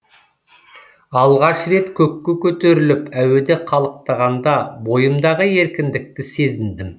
алғаш рет көкке көтеріліп әуеде қалықтағанда бойымдағы еркіндікті сезіндім